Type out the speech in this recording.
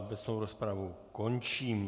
Obecnou rozpravu končím.